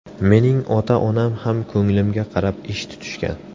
Mening ota-onam ham ko‘nglimga qarab ish tutishgan.